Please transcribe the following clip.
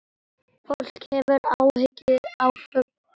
Fólk hefur áhuga á fólki.